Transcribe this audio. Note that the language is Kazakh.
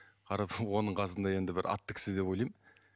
қарап оның қасында енді бір атты кісі деп ойлаймын